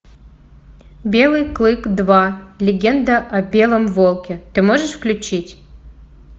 белый клык два легенда о белом волке ты можешь включить